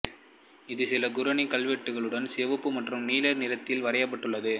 இது சில குரானிக் கல்வெட்டுகளுடன் சிவப்பு மற்றும் நீல நிறத்தில் வரையப்பட்டுள்ளது